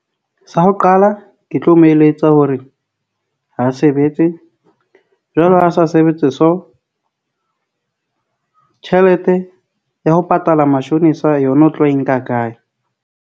Sa ho qala, ke tlo mo eletsa hore ha sebetse jwale ha a sa sebetse so tjhelete ya ho patala mashonisa yona o tlo e nka kae.